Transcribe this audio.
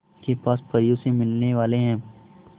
के पास परियों से मिलने वाले हैं